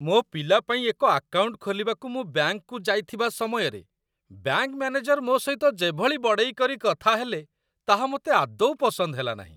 ମୋ ପିଲା ପାଇଁ ଏକ ଆକାଉଣ୍ଟ ଖୋଲିବାକୁ ମୁଁ ବ୍ୟାଙ୍କକୁ ଯାଇଥିବା ସମୟରେ, ବ୍ୟାଙ୍କ ମ୍ୟାନେଜର ମୋ ସହିତ ଯେଭଳି ବଡ଼େଇ କରି କଥା ହେଲେ, ତାହା ମୋତେ ଆଦୌ ପସନ୍ଦ ହେଲାନାହିଁ।